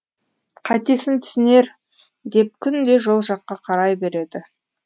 қатесін түсінер деп күнде жол жаққа қарай береді